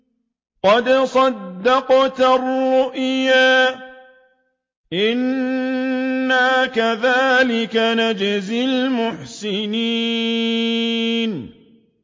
قَدْ صَدَّقْتَ الرُّؤْيَا ۚ إِنَّا كَذَٰلِكَ نَجْزِي الْمُحْسِنِينَ